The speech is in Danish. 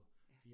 Ja